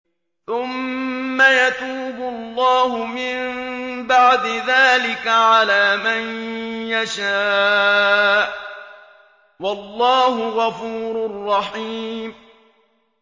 ثُمَّ يَتُوبُ اللَّهُ مِن بَعْدِ ذَٰلِكَ عَلَىٰ مَن يَشَاءُ ۗ وَاللَّهُ غَفُورٌ رَّحِيمٌ